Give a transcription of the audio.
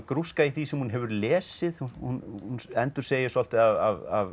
grúska í því sem hún hefur lesið hún endursegir svolítið af